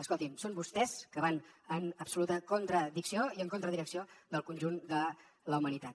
escoltin són vostès que van en absoluta contradicció i contra direcció del conjunt de la humanitat